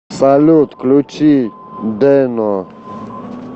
салют включить дэно